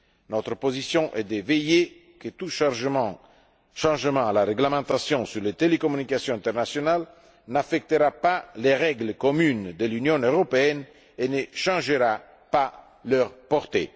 Notre position est de veiller à ce que tout changement à la réglementation sur les télécommunications internationales n'affecte pas les règles communes de l'Union européenne et ne change pas leur portée.